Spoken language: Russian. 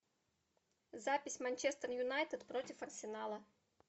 запись манчестер юнайтед против арсенала